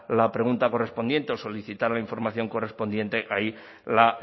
la pregunta correspondiente o solicitara la información correspondiente ahí la